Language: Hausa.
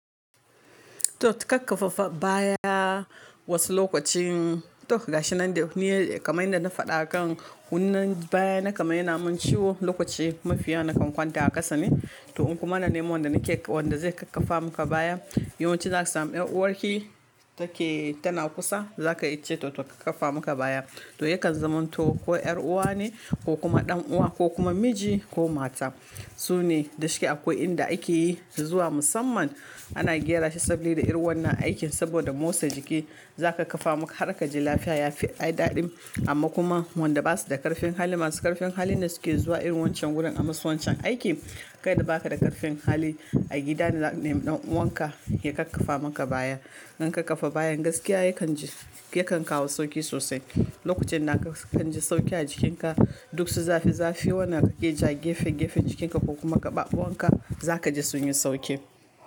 To ka ƙaffafa baya wasu lokacin, to ga shi nan dai ni ya da kamai na faɗa kan wannan baya na kaman ya na mun ciwo lokaci mafiya nakan kwanta a ƙasa ne. To un kuma na nemo wanda nake, wanda zai ƙaffafa muka bayan. Yawanci zaka samu ƴar uwarki take tana kusa za ka ce to ƙaffafa muka baya. To yakan zama to ko ƴar'uwa ne ko kuma ɗan'uwa ko kuma miji ko mata. Sune da shki akwai inda ake yi zuwa musamman ana gyara shi saboda irin wannan aikin saboda motsa jiki. Za ka ƙafa maka har ka ji lafiya ya fi ai daɗin amma kuma wanda ba su da ƙarfin hali masu ƙarfin hali ne suke zuwa irin wancan wurin a masu wancan aiki. Kai da ba ka da ƙarfin hali a gida ne zaka nemi ɗan'uwanka ya ƙaffafa maka baya. Dan ƙaffafa bayan gaskiya yakan ji, yakan kawo sauƙi sosai. Lokacin da ka kanji sauƙi a jikinka duk su zafi zafi wanda kake ja gefe gefen jikinka ko kuma gaɓaɓan ka za ka ji sun yi sauƙi.